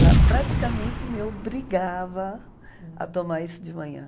Ela praticamente me obrigava a tomar isso de manhã.